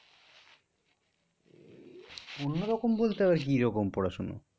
অন্য রকম বলতে আবার কি রকম পড়াশুনো?